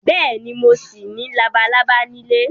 Bẹ́ẹ̀ni, mo ṣì ní labalábá nílé